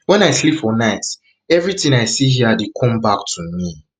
wen i sleep for night evritin i see hia dey come back to me